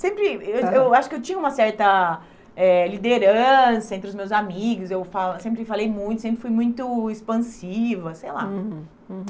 Sempre, eu aham eu acho que eu tinha uma certa eh liderança entre os meus amigos, eu fa eu sempre falei muito, sempre fui muito expansiva, sei lá.